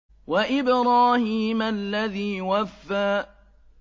وَإِبْرَاهِيمَ الَّذِي وَفَّىٰ